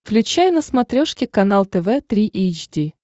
включай на смотрешке канал тв три эйч ди